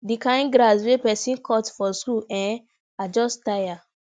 the kin grass wey person cut for school eh i just tire